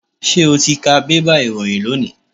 Ṣé o ti ka bébà ìròyìn lónìí?